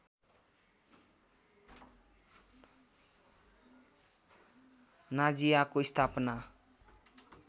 नाजिआको स्थापना